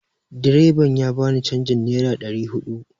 Direban ya ba ni canjin nera ɗari huɗu